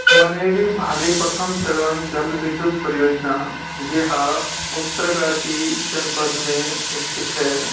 Malariae Bhali प्रथम चरण जल विद्धुत परियोजना यह उत्तरकाशी जनपद में स्थित है।